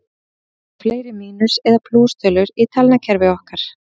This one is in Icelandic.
Hvort eru fleiri mínus- eða plústölur í talnakerfi okkar?